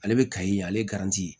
Ale bɛ kaye ale